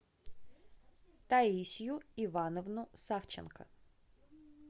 таисью ивановну савченко